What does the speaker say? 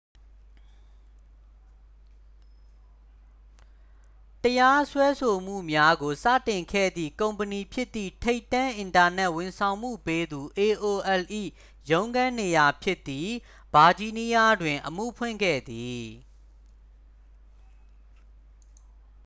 တရားစွဲဆိုမှုများကို စတင်ခဲ့သည့် ကုမ္ပဏီဖြစ်သည့် ထိပ်တန်း အင်တာနက် ဝန်ဆောင်မှုပေးသူ aol ၏ ရုံးခန်းနေရာ ဖြစ်သည့် ဗာဂျီးနီးယားတွင် အမှုဖွင့်ခဲ့သည်